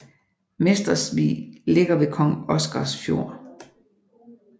Mestersvig ligger ved Kong Oscars Fjord